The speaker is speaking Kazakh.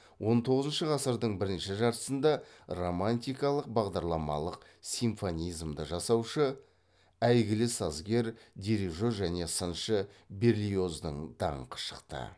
он тоғызыншы ғасырдың бірінші жартысында романтикалық бағдарламалық симфонизмді жасаушы әйгілі сазгер дирижер және сыншы берлиоздың даңқы шықты